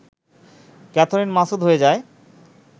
Catherine Masud হয়ে যায়